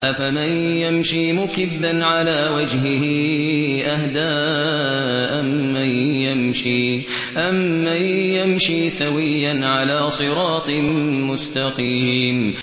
أَفَمَن يَمْشِي مُكِبًّا عَلَىٰ وَجْهِهِ أَهْدَىٰ أَمَّن يَمْشِي سَوِيًّا عَلَىٰ صِرَاطٍ مُّسْتَقِيمٍ